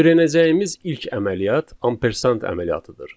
Öyrənəcəyimiz ilk əməliyyat ampersant əməliyyatıdır.